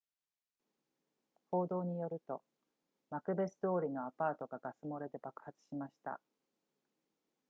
報道によるとマクベス通りのアパートがガス漏れで爆発しました